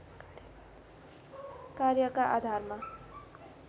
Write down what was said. कार्यका आधारमा